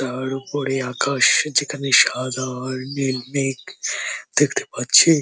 তার উপরে আকাশ যেখানে সাদা আর নীল মেঘ দেখতে পাচ্ছি।